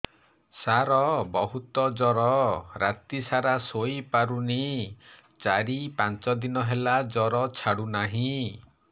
ସାର ବହୁତ ଜର ରାତି ସାରା ଶୋଇପାରୁନି ଚାରି ପାଞ୍ଚ ଦିନ ହେଲା ଜର ଛାଡ଼ୁ ନାହିଁ